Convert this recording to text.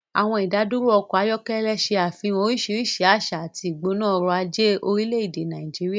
Àwọn ìdádúró ọkọ̀ ayọ́kẹ́lẹ́ ṣe àfihàn oríṣiríṣi àṣà àti ìgbóná ọrọ̀ ajé orílẹ̀-èdè Nàìjíríà.